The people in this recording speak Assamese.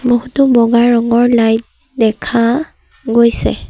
বহুতো বগা ৰঙৰ লাইট দেখা গৈছে।